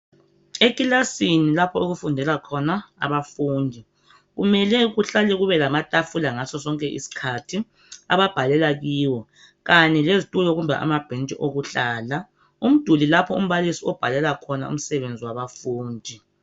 Ekilasini lapho okufundela khona abafundi kumele kuhlale kube lamatafula ngaso sonke iskhathi ababhalela kiwo. Kanye leztulo kumbe amabhentshi okuhlala. Umduli lapho umbalisi obhalela khona umsebenzi wabafundi.